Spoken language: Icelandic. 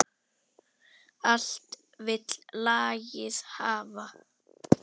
Allt vill lagið hafa.